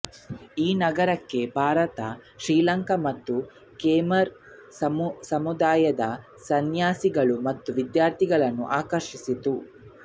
ಈ ನಗರಕ್ಕೆ ಭಾರತ ಶ್ರೀಲಂಕಾ ಮತ್ತು ಕೇಮರ್ ಸಾಮ್ರಾಜ್ಯದ ಸನ್ಯಾಸಿಗಳು ಮತ್ತು ವಿದ್ಯಾರ್ಥಿಗಳನ್ನು ಆಕರ್ಷಿಸಿತು